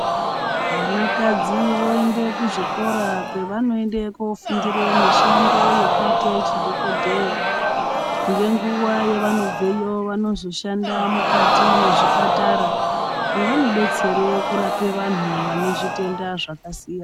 Vanakadzi voende kuzvikora kwavanofundira mishando yekuita chidhokodheya. Ngenguva yevanobveyo vanozoshanda mukati mwezvipatara, mwevanodetsere kurape vanhu vane zvitenda zvakasiyana.